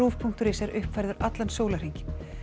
punktur is er uppfærður allan sólarhringinn